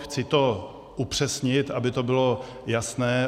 Chci to upřesnit, aby to bylo jasné.